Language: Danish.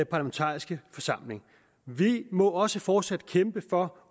parlamentariske forsamling vi må også fortsat kæmpe for